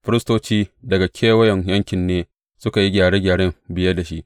Firistoci daga kewayen yankin ne suka yi gyare gyaren biye da shi.